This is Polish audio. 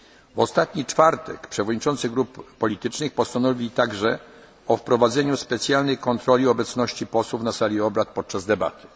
Europejskiego. W ostatni czwartek przewodniczący grup politycznych postanowili także o wprowadzeniu specjalnej kontroli obecności posłów na sali obrad